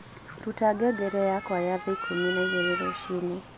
ruta ngengere yakwa ya thaa ikumi na igiri ruciini